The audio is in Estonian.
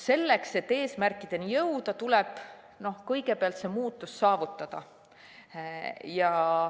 Selleks, et eesmärkideni jõuda, tuleb kõigepealt see muutus saavutada.